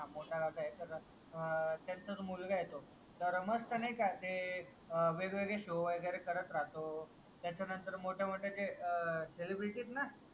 हा तर हा त्यांचाच मुलगा हे तो तर मग मस्त नाय का ते वेगवेगळे शो वगैरे करत राहतो त्याचा नंतर मोठे मोठे जे सेलिब्रिटी येत ना